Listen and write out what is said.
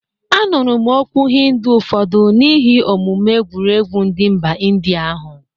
Anụrụ m okwu hindu ụfọdụ n'ihi omume egwuregwu ndị mba ịndịa ahụ